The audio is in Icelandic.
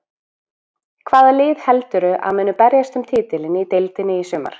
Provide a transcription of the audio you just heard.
Hvaða lið heldurðu að muni berjast um titilinn í deildinni í sumar?